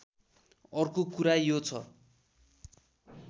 अर्को कुरा यो छ